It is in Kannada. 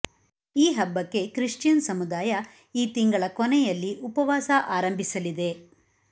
ಈ ಹಬ್ಬಕ್ಕೆ ಕ್ರಿಶ್ಚಿಯನ್ ಸಮುದಾಯ ಈ ತಿಂಗಳದ ಕೊನೆಯಲ್ಲಿ ಉಪವಾಸ ಆರಂಭಿಸಲಿದೆ